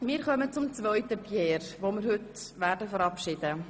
Wir kommen zum zweiten Pierre, den wir heute verabschieden werden.